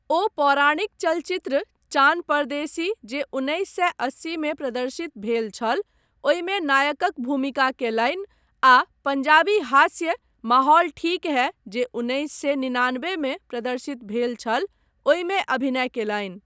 ओ पौराणिक चलचित्र चान परदेसी जे उन्नैस सए अस्सी मे प्रदर्शित भेल छल, ओहिमे नायकक भूमिका कयलनि आ पञ्जाबी हास्य माहौल ठीक है, जे उन्नैस से निनानबे मे प्रदर्शित भेल छल, ओहिमे अभिनय कयलनि।